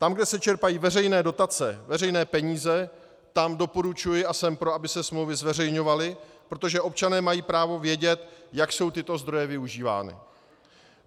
Tam, kde se čerpají veřejné dotace, veřejné peníze, tam doporučuji a jsem pro, aby se smlouvy zveřejňovaly, protože občané mají právo vědět, jak jsou tyto zdroje využívány.